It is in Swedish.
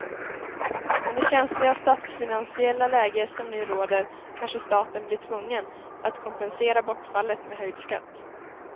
Med det känsliga statsfinansiella läge som nu råder kanske staten blir tvungen att kompensera bortfallet med höjd skatt.